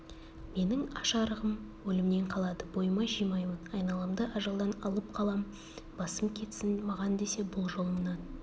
менің аш-арығым өлімнен қалады бойыма жимаймын айналамды ажалдан алып қалам басым кетсін маған десе бұл жолымнан